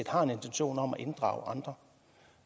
har intentioner om at inddrage andre